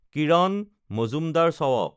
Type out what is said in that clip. Kiran Mazumdar-Shaw